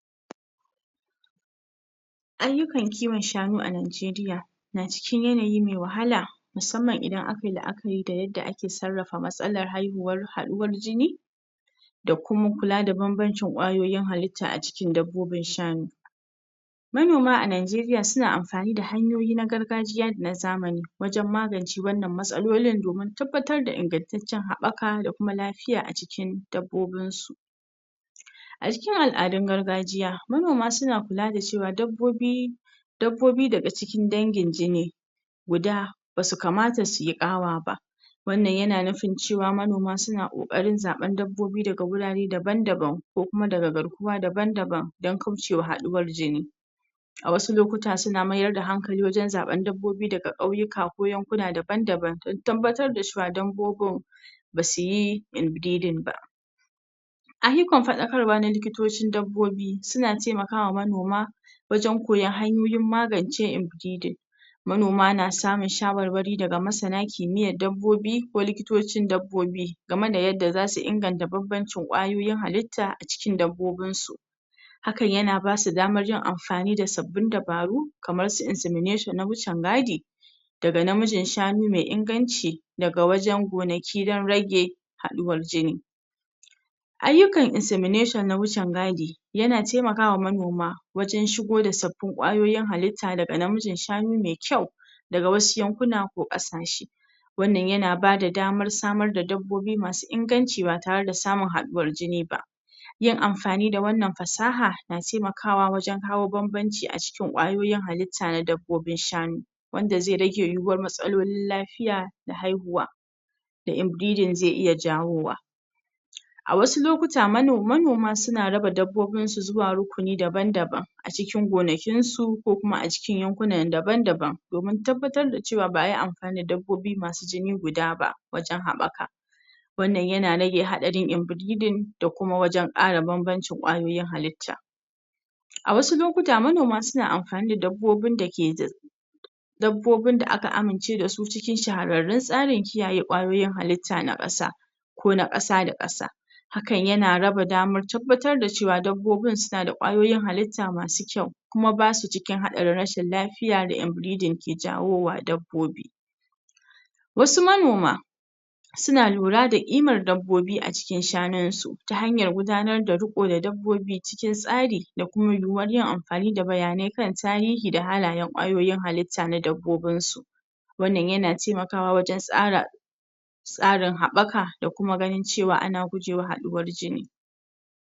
Ayyukan kiwon shanu a Nigeria na cikin yanayi me wahala musamman idan aka yi la'akari da yadda ake sarrafa matsalar haihuwar haɗuwar jini da kuma kula da banbancin ƙwayoyin halitta a jikin dabbobin shanu manoma a Nigeria suna amfani da hanyoyi na gargajiya da na zamani wajen magance wannan matsalolin domin tabbatar da ingantaccen haɓɓaka da kuma lafiya a jikin dabbobin su a cikin al'adun gargajiya manoma suna kula da cewa dabbobi dabbobi daga cikin dangin jini guda, basu kamata su yi ƙawa ba wannan yana nufin cewa manoma sun ƙoƙarin zaɓan dabbobi daga wurare daban-dabna ko kuma daga garkuwa daban-daban dan kaucewa haɗuwar jini a wasu lokuta suna mayar da hankali wajen zaɓen dabbobi daga kauyuka ko yankuna daban-daban dan tabbatar da cewa dabbobin basu yi inbreading ba ayyukan faɗakarwa na likitocin dabbobi suna taimakawa manoma wajen koyan hanyoyin magance inbreading manoma na samun shawarwari daga masana kimiyyan dabbobi ko likitocin dabbobi game da yadda zasu inganta banbancin ƙwayoyin halitta a cikin dabbobin su hakan yana basu damar yin amfani da sabbin dabaru kamar su insemination na wucin gadi daga namijin shanu mai inganci daga wajen gonaki dan rage haɗuwar jini ayyukan insemination na wucin gadi yana taimakawa manoma wajen shigo da sabbin ƙwayoyin halitta daga namijin shanu mai kyau daga wasu yankuna ko ƙasashe wannan yana bada damar samar dabbobi masu inganci ba tare da samun haɗuwar jini ba yin amfani da wannan fasaha na taimakawa wajen kawo banbanci a cikin ƙwayoyin halitta na dabbobin shanu wanda zai rage yiwuwar matsalolin lafiya da haihuwa da inbreading zai iya jawowa a wasu lokuta manoma suna raba dabbobin su zuwa rukuni daban-daban a cikin gonakin su ko kuma a cikin yankuna daban-daban domin tabbatar da cewa ba'a yi amfani da dabbobi masu jini guda ba wajen haɓaka wannan yana rage haɗarin inbreading da kuma wajen ƙara banbancin ƙwayoyin halitta a wasu lokuta manoma suna amfani da dabbobin da ke dabbobin da aka amince da su cikin shahararun tsarin kiyaye ƙwayoyin halitta na ƙasa ko na ƙasa da ƙasa hakan yana raba damar tabbatar da cewa dabbobin suna da ƙwayoyin halitta masu kyau kuma basu cikin haɗarin rashin lafiya da inbreading ke jawowa dabbobi wasu manoma suna lura da ƙimar dabbobi a cikin shanun su ta hanyar gudanar da ruƙo da dabbobi cikin tsari da kuma yiwuwar yin amfani da bayanai kan tahiri da halaye ƙwayoyin halitta na dabbobin su wannan yana taimakawa wajen tsara tsarin haɓɓaka da kuma ganin cewa ana gujewa haɗuwar jini.